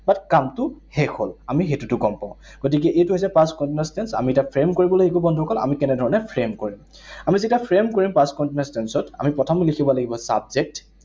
But কামটো শেষ হল। আমি সেইটোতো গম পাওঁ । গতিকে এইটো হৈছে past continuous tense, আমি তাক frame কৰিব লাগিব বন্ধুসকল। আমি কেনেধৰণে frame কৰিম। আমি যেতিয়া frame কৰিম past continuous tense ত, আমি প্ৰথম লিখিব লাগিব subject